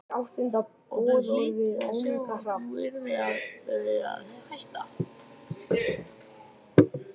Og þau hlytu að sjá að nú yrði hann að láta þau hætta.